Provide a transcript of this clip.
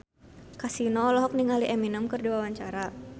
Kasino olohok ningali Eminem keur diwawancara